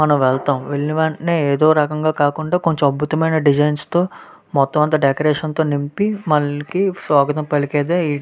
మన వెళ్తాం వెళ్లిన వెంటనే ఏదో రకంగా కాకుండా కొంచెం అద్భుతమైన డిజైన్స్ తో మొత్తం అంతా డెకరేషన్ తో నింపి స్వాగతం పలికేదో ఇది --